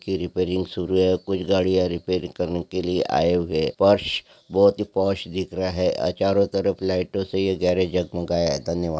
की रिपेरींग शुरू है कुछ गड़िया रिपेरिंग करने के लिए आए हुए है फर्श बहुत ही पॉश दिख रहा है यहा चरो तरफ लाइटो से ये गेराज जगमगाया है धन्यवाद।